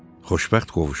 Xoşbəxt qovuşma.